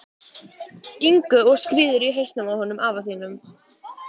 Ingu og skírður í hausinn á honum afa þínum.